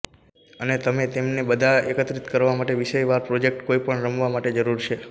અને તમે તેમને બધા એકત્રિત કરવા માટે વિષયવાર પ્રોજેક્ટ કોઈપણ રમવા માટે જરૂર છે